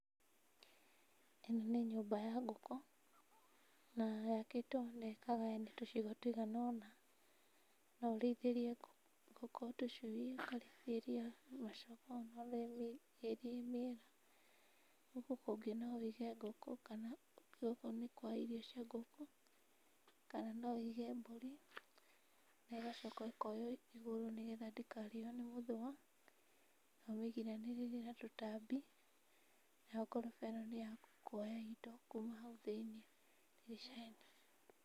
Ĩno nĩ nyũmba ya ngũkũ, na yakĩtwo na ĩkagayanio tũcigo tũigana ũna, no ũrĩithĩrie ngũkũ tũcui ũkarĩithĩria macogoo mĩera. Gũkũ kũngĩ no wĩige ngũkũ kana gũkũ nĩ kwa irio cia ngũkũ kana no wĩige mbũri na igacoka ikoywo igũrũ nĩgetha ndĩkarĩo nĩ mũthũa na ũmĩgiranĩrĩrie na tũtambi nayo ngoroba ĩno nĩ ya kuoya indo kuma hau thĩiniĩ.